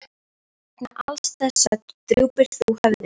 Vegna alls þessa drúpir þú höfði.